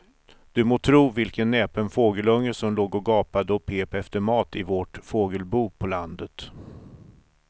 Du må tro vilken näpen fågelunge som låg och gapade och pep efter mat i vårt fågelbo på landet.